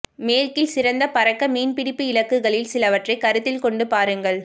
மேற்கில் சிறந்த பறக்க மீன்பிடிப்பு இலக்குகளில் சிலவற்றைக் கருத்தில் கொண்டு பாருங்கள்